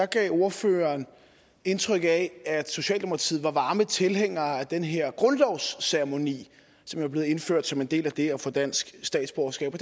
gav ordføreren indtryk af at socialdemokratiet er varme tilhængere af den her grundlovsceremoni som er blevet indført som en del af det at få dansk statsborgerskab og